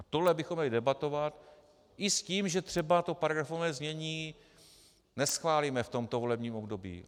A tohle bychom měli debatovat, i s tím, že třeba to paragrafované znění neschválíme v tomto volebním období.